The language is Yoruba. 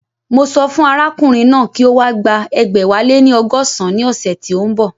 Mo sọ fún arákùnrin náà kí ó wá gba ẹgbẹ̀wáléní ọgọ́san ní ọ̀sẹ̀ tí ó ń bọ̀